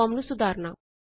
form ਨੂੰ ਸੁਧਾਰਨਾ